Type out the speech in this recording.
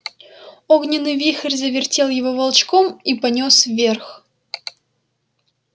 огненный вихрь завертел его волчком и понёс вверх